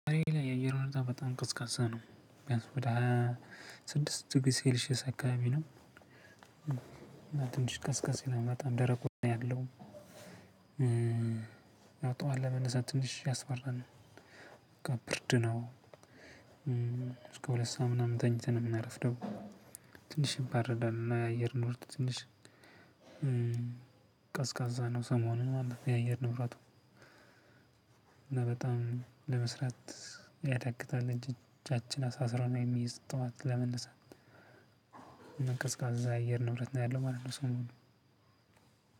የአየሩ ሁኔታ በጣም ቅዝቀዛ ነው ቢያንስ ወደ ስድስት ዲግሪ ሴልሺየስ አካባቢ ነው። ትንሽ ቀዝቀዝ ይላል በጣም ደረቁ ነው ያለው። እና ጠዋት ለመነሳት ትንሽ ያስፈል በቃ ብርድ ነው እስከ ሁለት ሰዓት ምናምን ተኝተን ነው የምናረፍደው ደግሞ። ትንሽ ይበርዳል እና የአየር ንብረቱ ትንሽ ቀዝቃዛ ነው። ሰሞኑን ማለት የአየር ንብረቱ። እና በጣም ለመስራት ያዳግታል እጃችን አሳስሮ ነው የሚይዝ። ጠዋት ለመነሳት እና ቀዝቃዛ የአየር ንብረት ነው ያለው ማለት ነው። ሰሞኑን